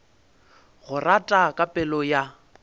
go rata ka pelo ya